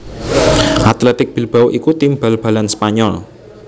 Athletic Bilbao iku tim bal balan Spanyol